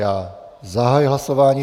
Já zahajuji hlasování.